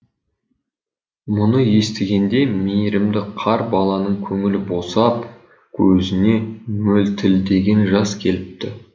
мұны естігенде мейірімді қар баланың көңілі босап көзіне мөлтілдеген жас келіпті